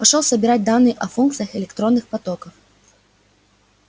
пошёл собирать данные о функциях электронных потоков